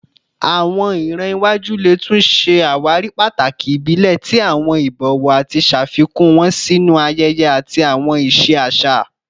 Awọn iran iwaju le tun ṣe awari pataki ibile ti awọn ibọwọ ati ṣafikun wọn sinu ayẹyẹ ati awọn iṣe aṣa